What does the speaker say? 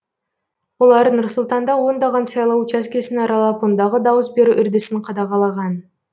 олар нұр сұлтанда ондаған сайлау учаскесін аралап ондағы дауыс беру үрдісін қадағалаған